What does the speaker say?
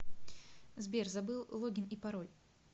сбер забыл логин и пароль